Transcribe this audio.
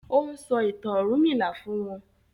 O n sọ ìtàn ọrunmila fún wón